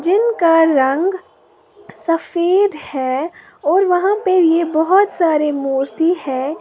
जिनका रंग सफेद है और वहां पे ये बहुत सारी मूर्ति है।